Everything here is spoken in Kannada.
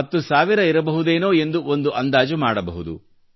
ಹತ್ತು ಸಾವಿರ ಇರಬಹುದೇನೊ ಎಂದು ಒಂದು ಅಂದಾಜು ಮಾಡಬಹುದು